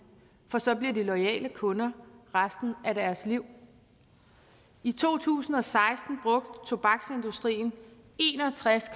for så bliver de loyale kunder resten af deres liv i to tusind og seksten brugte tobaksindustrien en og tres